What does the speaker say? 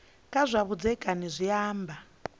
kha zwa vhudzekani zwi amba